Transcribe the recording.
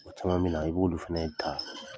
O tuma min na i b'ulu fɛnɛ ta